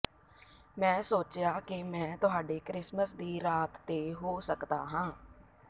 ਮੈਂ ਸੋਚਿਆ ਕਿ ਮੈਂ ਤੁਹਾਡੇ ਕ੍ਰਿਸਮਿਸ ਦੀ ਰਾਤ ਤੇ ਹੋ ਸਕਦਾ ਹਾਂ